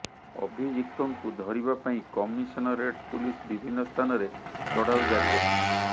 ଅଭିଯୁକ୍ତଙ୍କୁ ଧରିବା ପାଇଁ କମିଶନରେଟ୍ ପୁଲିସ ବିଭିନ୍ନ ସ୍ଥାନରେ ଚଢ଼ାଉ ଜାରି ରଖିଛି